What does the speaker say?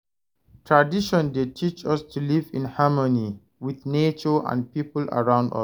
Tradition dey teach us to live in harmony with nature and people around us.